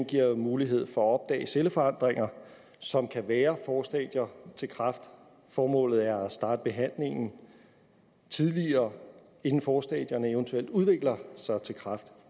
giver mulighed for at opdage celleforandringer som kan være forstadier til kræft formålet er at starte behandlingen tidligere inden forstadierne eventuelt udvikler sig til kræft